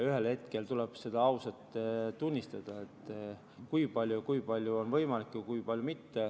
Ühel hetkel tuleb ausalt tunnistada, mis on võimalik ja mis mitte.